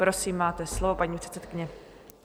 Prosím máte slovo, paní předsedkyně.